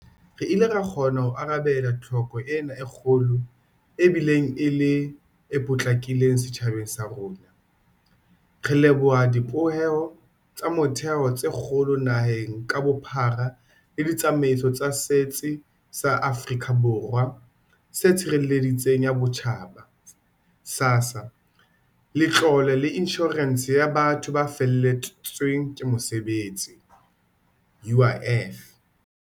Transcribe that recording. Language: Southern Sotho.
Re ile ra kgona ho arabela tlhoko ena e kgolo e bileng e le e potlakileng setjhabeng sa rona, re leboha dibopeho tsa motheo tse kgolo naheng ka bophara le ditsamaiso tsa Setsi sa Afrika Borwa sa Tshireletso ya Botjhaba SASSA le Letlole la Inshorense ya Batho ba Feletsweng ke Mosebetsi UIF.